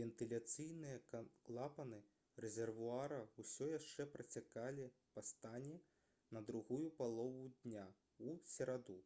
вентыляцыйныя клапаны рэзервуара ўсё яшчэ працякалі па стане на другую палову дня ў сераду